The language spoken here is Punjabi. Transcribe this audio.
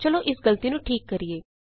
ਚਲੋ ਇਸ ਗਲਤੀ ਨੂੰ ਠੀਕ ਕਰੀਏ